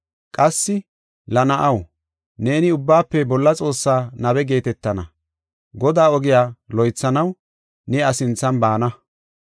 Qassi la na7aw, neeni Ubbaafe Bolla Xoossaa nabe geetetana. Godaa ogiya loythanaw ne iya sinthan baana.